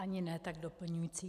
Ani ne tak doplňující.